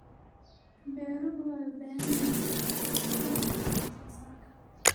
Beeruhu waxay u baahan yihiin dayactir si loo horumariyo wax soo saarka.